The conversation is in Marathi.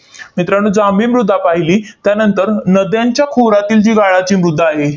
मित्रांनो, जांभी मृदा पाहिली. त्यानंतर नद्यांच्या खोऱ्यातील जी गाळाची मृदा आहे,